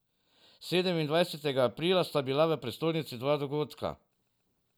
Sedemindvajsetega aprila sta bila v prestolnici dva dogodka.